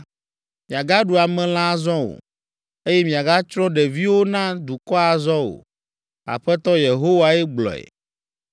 miagaɖu amelã azɔ o, eye miagatsrɔ̃ ɖeviwo na dukɔa azɔ o. Aƒetɔ Yehowae gblɔe.